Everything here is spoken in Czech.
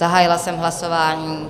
Zahájila jsem hlasování.